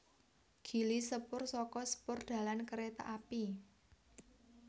Gili sepur saka spoor dalan kereta api